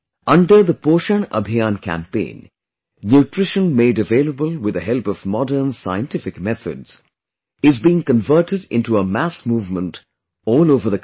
Under the 'Poshan Abhiyaan' campaign, nutrition made available with the help of modern scientific methods is being converted into a mass movement all over the country